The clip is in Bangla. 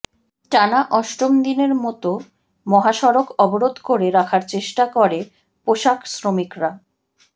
টানা অষ্টম দিনের মত মহাসড়ক অবরোধ করে রাখার চেষ্টা করে পোশাক শ্রমিকরা